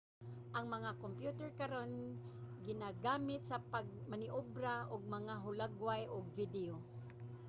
ang mga kyomputer karon ginagamit sa pagmaneobra og mga hulagway ug video